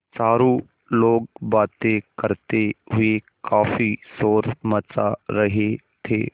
चारों लोग बातें करते हुए काफ़ी शोर मचा रहे थे